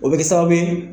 O bɛ kɛ sababu ye